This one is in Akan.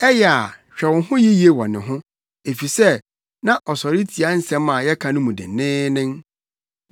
Ɛyɛ a hwɛ wo ho yiye wɔ ne ho, efisɛ na ɔsɔre tia nsɛm a yɛka no mu denneennen.